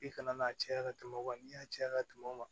I kana n'a cɛya ka tɛmɛ o kan wa n'i y'a caya ka tɛmɛ o kan